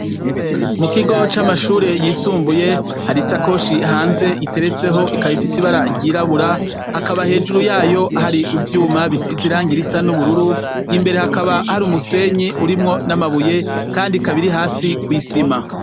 Mu kigo c'amashure yisumbuye hari isakoshi hanze iteretseho ikaba ifise ibara ryirabura, hakaba hejuru ryayo hari ivyuma bisize ibara risa n'ubururu, imbere hakaba hari umusenyi urimwo n'amabuye Kandi ikaba iri hasi kw'isima.